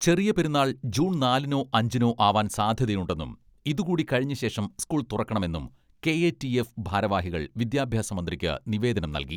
ചെറിയ പെരുന്നാൾ ജൂൺ നാലിനോ അഞ്ചിനോ ആവാൻ സാധ്യതയുണ്ടെന്നും ഇതുകൂടി കഴിഞ്ഞ ശേഷം സ്കൂൾ തുറക്കണമെന്നും കെ.എ.ടി.എഫ് ഭാരവാഹികൾ വിദ്യാഭ്യാസ മന്ത്രിക്ക് നിവേദനം നൽകി.